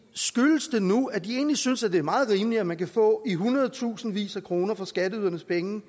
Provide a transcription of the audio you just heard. skyldes det nu at de egentlig synes at det er meget rimeligt at man kan få i hundredtusindvis af kroner fra skatteydernes penge